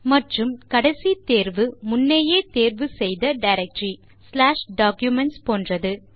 மற்றும் கடைசி தேர்வு முன்னேயே தேர்வு செய்த டைரக்டரி documents போன்றது